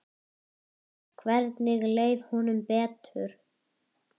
Hvergi leið honum betur.